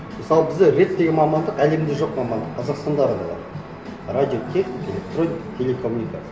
мысалы бізде рэт деген мамандық әлемде жоқ мамандық қазақстанда ғана бар радиотехника электроника телекоммуникация